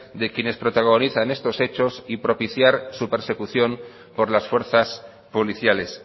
de quienes protagonizan estos hechos y propiciar su persecución por las fuerzas policiales